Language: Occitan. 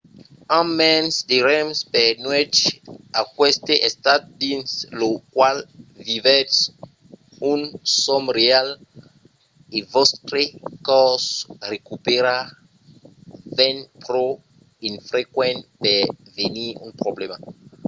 amb mens de rems per nuèch aqueste estat dins lo qual vivètz un sòm real e vòstre còrs recupèra ven pro infrequent per venir un problèma